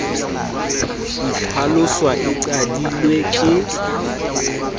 e itlhalosa e qadilwe ke